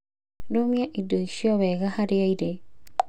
Rũmia indo icio wega harĩa irĩ.